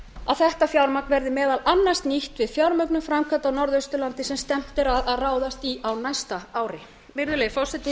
að þetta fjármagn verði meðal annars nýtt til fjármögnunar framkvæmda á norðausturlandi sem stefnt er að að ráðast í á næsta ári virðulegi forseti